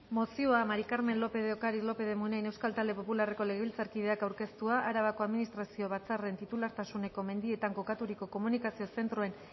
mozioa maría del carmen lópez de ocariz lópez de munain euskal talde popularreko legebiltzarkideak aurkeztua arabako administrazio batzarren titulartasuneko mendietan kokaturiko komunikazio zentroen